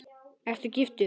Ert þú giftur?